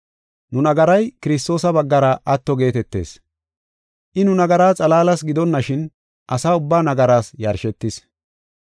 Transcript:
Nu nagaray Kiristoosa baggara atto geetetees. I nu nagaraa xalaalas gidonashin, asa ubbaa nagaraas yashetis.